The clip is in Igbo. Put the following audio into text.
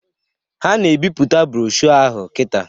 Ha na ebiputa brọshọ ahụ kita